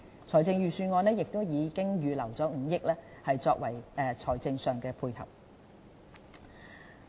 財政預算案已預留5億元作為財政上的配合。